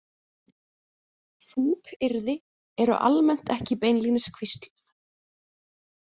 „Fúkyrði“ eru almennt ekki beinlínis hvísluð.